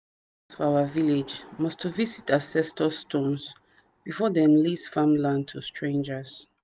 landowners for our village must to visit ancestor stones before them lease farmland to strangers.